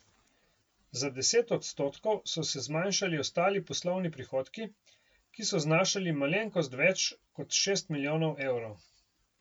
Za deset odstotkov so se zmanjšali ostali poslovni prihodki, ki so znašali malenkost več kot šest milijonov evrov.